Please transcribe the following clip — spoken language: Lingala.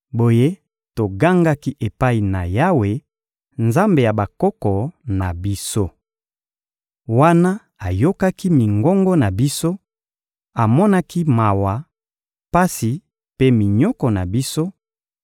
Boye togangaki epai na Yawe, Nzambe ya bakoko na biso. Wana ayokaki mingongo na biso, amonaki mawa, pasi mpe minyoko na biso;